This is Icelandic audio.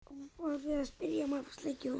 var við hæfi að spyrja.